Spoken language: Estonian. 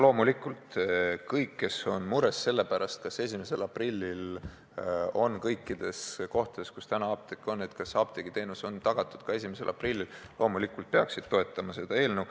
Loomulikult kõik, kes on mures selle pärast, kas ka pärast 1. aprilli on kõikides nendes kohtades, kus praegu apteek on, apteegiteenus tagatud, peaksid toetama seda eelnõu.